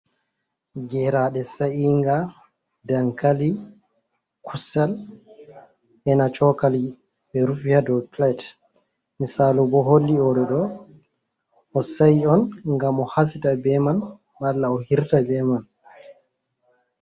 Geraɗe sa’inga dankali, kusel ena chokali be rufi ha dou pilet misalu bo holli odo ɗo o sa'i on ngam o hasita be man malla o hirta be man.